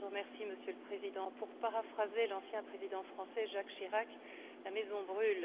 Monsieur le Président, pour paraphraser l'ancien président français Jacques Chirac, la maison brûle.